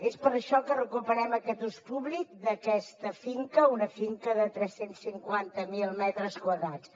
és per això que recuperem aquest ús públic d’aquesta finca una finca de tres cents i cinquanta miler metres quadrats